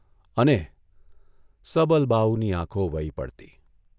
' અને ' સબલબાહુની આંખો વહી પડતી.